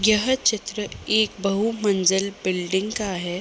यह चित्र एक बहुमंजिल बिल्डिंग का है।